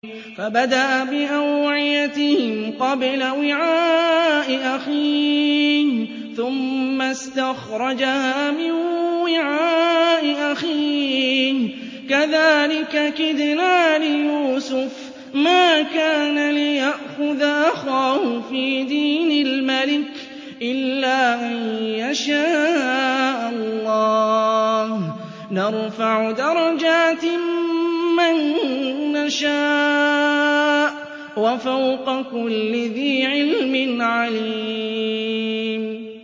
فَبَدَأَ بِأَوْعِيَتِهِمْ قَبْلَ وِعَاءِ أَخِيهِ ثُمَّ اسْتَخْرَجَهَا مِن وِعَاءِ أَخِيهِ ۚ كَذَٰلِكَ كِدْنَا لِيُوسُفَ ۖ مَا كَانَ لِيَأْخُذَ أَخَاهُ فِي دِينِ الْمَلِكِ إِلَّا أَن يَشَاءَ اللَّهُ ۚ نَرْفَعُ دَرَجَاتٍ مَّن نَّشَاءُ ۗ وَفَوْقَ كُلِّ ذِي عِلْمٍ عَلِيمٌ